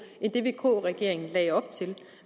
end det vk regeringen lagde op til